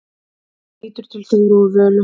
Hann lítur til Þóru og Völu.